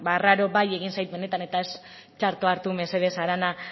arraro bai egin zait benetan eta ez txarto hartu mesedez arana